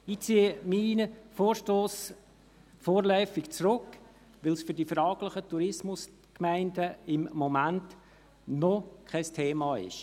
Ich ziehe meinen Vorstoss vorläufig zurück, weil es für die fraglichen Tourismusgemeinden im Moment noch kein Thema ist.